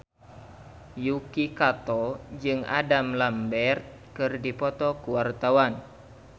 Yuki Kato jeung Adam Lambert keur dipoto ku wartawan